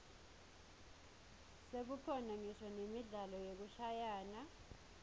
sekukhona ngisho nemidlalo yekushayana